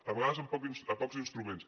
a vegades amb pocs instruments